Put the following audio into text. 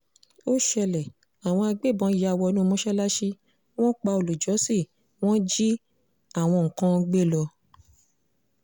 ó ṣẹlẹ̀ àwọn agbébọn yà wọnú mọ́ṣáláṣí wọ́n pa olùjọ́sìn wọn jí àwọn kan gbé lọ